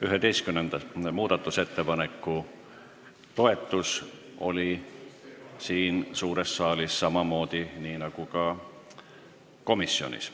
11. muudatusettepanekut toetati siin suures saalis samamoodi nagu ka komisjonis.